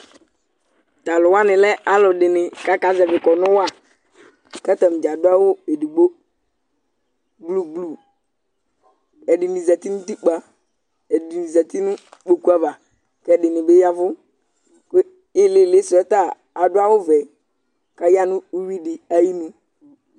Taluwani lɛ aluɛdini kakazɛvi kɔnu waKatanidza adʋ awu edigbo, blu bluƐdini zati nutikpaƐdini zati nʋ kpokuavaKɛdini bi yavʋKʋ ilili suɛ ta, aduawu vɛ Katã nu uwi di ayinu